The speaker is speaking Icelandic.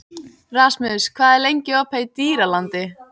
Rasmus, hvað er lengi opið í Dýralandi?